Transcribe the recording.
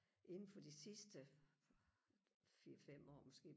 inden for de sidste fire fem år måske